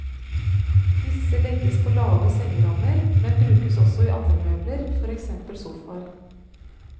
Disse legges på lave sengerammer, men brukes også i andre møbler, for eksempel sofaer.